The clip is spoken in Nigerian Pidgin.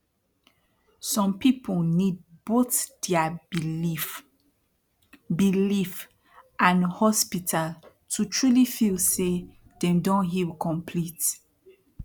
som people need both dia belief belief and hospital to truli feel say dem don heal complete